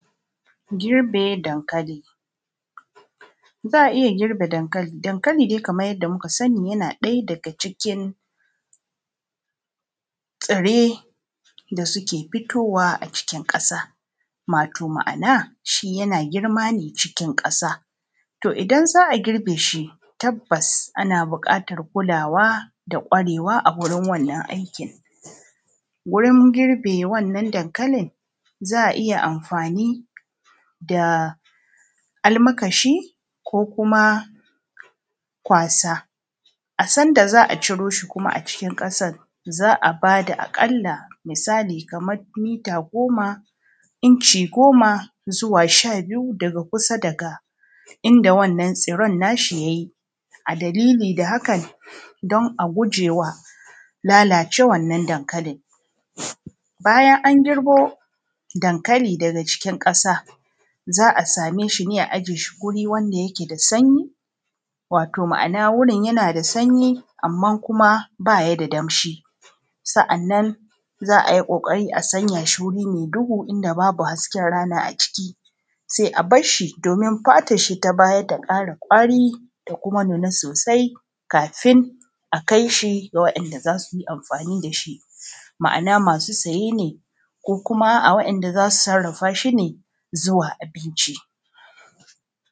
girbe dankali Za a iya girbe dankali, dankali dai kamar yanda muka sani, yana ɗaya daga cikin tsirrai da suke fitowa a cikin ƙasa, wato ma’ana, shi yana fitowa yana girma ne cikin ƙasa. to idan za a girbe shi, tabbas ana buƙatar kulawa da ƙwarewa a wurin wannan aikin. wurin girbe wannan dankalin za a iya anfani da almakashi ko kuma kwaasa. a san da za a ciro shi kuma a cikin ƙasar, za a ba da aƙalla misali kamar mita goma, inci gomaa zuwaa sha biyu daga kusa da inda wannan tsirran nashi, ya yi dalilin hakan, don a gujewa lalacewar wannan dankalin. Bayan an girbo dankalii daga cikin ƙasa, za a same shi ne a aje shi a guri wanda ke da sanyi wato ma’anaa wurin yana da sanyi amma ba shi da danshi. Sannan za a yi ƙoƙari a sanya shi wuri mai duhu inda babu hasken ranaa a ciki. Sai a basshi domin fatasshi ta baya ta ƙara ƙwari ta kuma nuna sosai kaafin a kai shi ga waɗanda za su yi anfani da shi. ma’ana masu saye ne ko waɗanda zaa su sarrafashi ne zuwa abinci